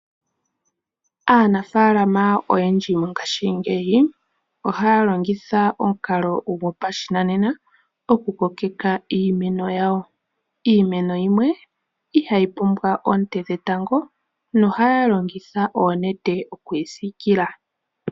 Anafalama oyendji mongashingeyi ohaya longitha omukalo go pashinanena okukokeka iimeno yawo. Iimeno yimwe ihayi pumbwa oonte dhetango, no haya longitha oonete oku yi siikila.